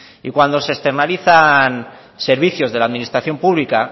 y cuando se externalizan servicios de la administración pública